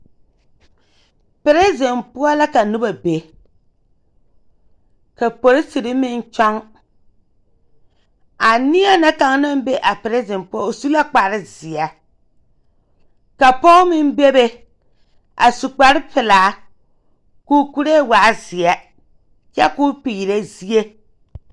Piriziŋ poͻ la kaa noba be, ka polisiri meŋ kyͻŋ. A neԑ na kaŋ naŋ be a piriziŋ poͻ o su la kpare zeԑ, ka pͻge meŋ bebe a su kpare pelaa koo kuree waa zeԑ kyԑ koo peerԑ zie.